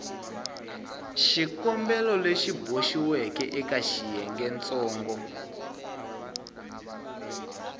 xikombelo lexi boxiweke eka xiyengentsongo